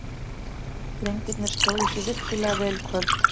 Drengirnir stóðu sig virkilega vel í kvöld.